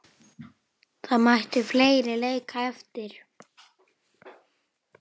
Hverjir eru í þessum hópi?